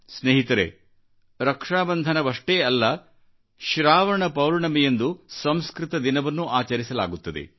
ಸ್ನೇಹಿತರೇ ರಕ್ಷಾಬಂಧನವಷ್ಟೇ ಅಲ್ಲ ಶ್ರಾವಣ ಪೌರ್ಣಮಿಯಂದುಸಂಸ್ಕೃತ ದಿನವನ್ನೂ ಆಚರಿಸಲಾಗುತ್ತದೆ